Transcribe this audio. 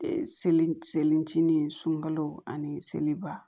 Seli selicini sunkalo ani seliba